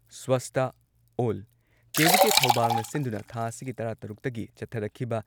ꯁ꯭ꯋꯁꯇꯥ ꯑꯣꯜ ꯀꯦ.ꯚꯤ.ꯀꯦ. ꯊꯧꯕꯥꯜꯅ ꯁꯤꯟꯗꯨꯅ ꯊꯥ ꯑꯁꯤꯒꯤ ꯇꯔꯥꯇꯔꯨꯛꯇꯒꯤ ꯆꯠꯊꯔꯛꯈꯤꯕ